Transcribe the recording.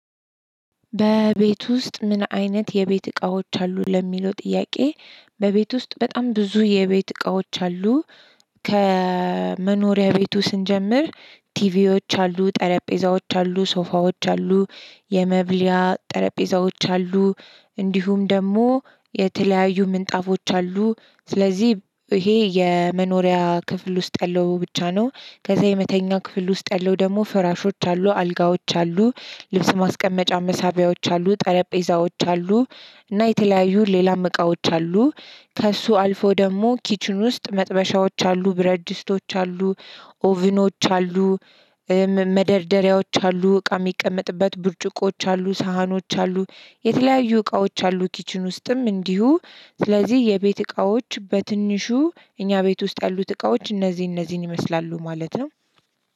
በቤት ውስጥ ምን አይነት የቤት እቃዎች አሉ ለሚለው ጥያቄ በቤት ውስጥ በጣም ብዙ የቤት እቃዎች አሉ። ከመኖሪያ ቤቱ ስንጀምር ቲቪዎች አሉ፣ ጠረጴዛዎች አሉ፣ ሶፋዎች አሉ፣ የመብልያ ጠረጴዛዎች አሉ፣ እንዲሁም ደግሞ የተለያዩ ምንጣፎች አሉ። ስለዚህ ይሄ የመኖሪያ ክፍል ውስጥ ያለው ብቻ ነው። ከዛ የመተኛ ክፍል ውስጥ ያለው ደግሞ ፍራሾች አሉ፣ አልጋዎች አሉ፣ ልብስ ማስቀመጫ መሳቢያዎች አሉ፣ ጠረጴዛዎች አሉ፣ እና የተለያዩ ሌላም እቃዎች አሉ። ከእሱ አልፎ ደግሞ ኪችን ውስጥ መጥበሻዎች አሉ፣ ብረት ድስቶች አሉ፣ ኦቪኖች አሉ፣ መደርደሪያዎች አሉ፣ እቃ የሚቀመጥበት ብርጭቆች አሉ፣ ሳህኖች አሉ፣ የተለያዩ እቃዎች አሉ ኪችን ውስጥም እንዲሁ። ስለዚህ የቤት እቃዎች በትንሹ እኛ ቤት ውስጥ ያሉት እቃዎች እነዚህ እነዚህን ይመስላሉ ማለት ነው።